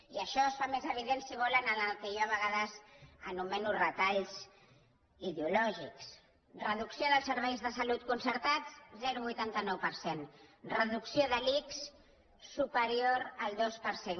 i això es fa més evident si ho volen en el que jo a vegades anomeno retalls ideo lògics reducció dels serveis de salut concertats zero coma vuitanta nou per cent reducció de l’ics superior al dos per cent